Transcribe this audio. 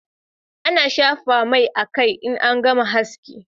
A na shafa mai a kai in an gama haski